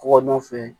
Kɔgɔ nɔfɛ